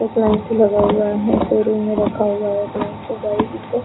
एक लाइन से लगा हुआ है शोरूम मे रखा हुआ है एक लाइन से गाडी ई सब |